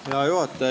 Hea juhataja!